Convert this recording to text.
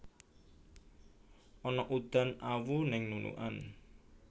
Ana udan awu ning Nunukan